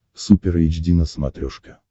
супер эйч ди на смотрешке